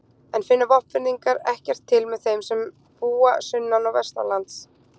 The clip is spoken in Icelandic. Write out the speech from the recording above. En finna Vopnfirðingar ekkert til með þeim sem búa sunnan- og vestanlands?